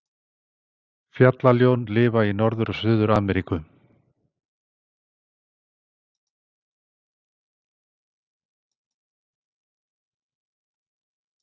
Fjallaljón lifa í Norður- og Suður-Ameríku.